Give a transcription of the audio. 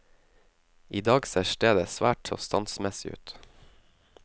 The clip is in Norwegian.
I dag ser stedet svært så standsmessig ut.